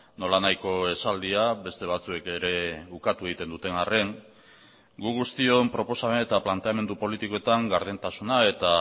nolanahiko esaldia beste batzuek ere ukatu egiten duten arren gu guztion proposamen eta planteamendu politikoetan gardentasuna eta